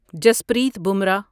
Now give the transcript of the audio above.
Jasprit Bumrah